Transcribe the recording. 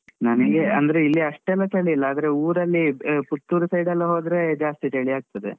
ನಮಿಗೆ ಅಂದ್ರೆ ಇಲ್ಲಿ ಅಷ್ಟ್ಎಲ್ಲ ಚಳಿ ಇಲ್ಲ ಆದ್ರೆ ಊರಲ್ಲಿ ಆ ಪುತ್ತೂರ್ side ಎಲ್ಲ ಹೋದ್ರೆ ಜಾಸ್ತಿ ಚಳಿಯಾಗ್ತದೆ.